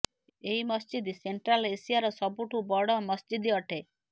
ଏହି ମସିଜିଦ ସେଣ୍ଟ୍ରାଲ ଏସିଆର ସବୁଠୁ ବଡ଼ ମସଜିଦ ଅଟେ